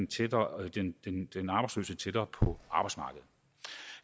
tættere på arbejdsmarkedet